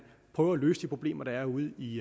prøver at løse de problemer der er ude i